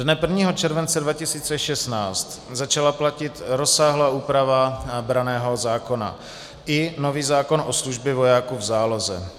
Dne 1. července 2016 začala platit rozsáhlá úprava branného zákona i nový zákon o službě vojáků v záloze.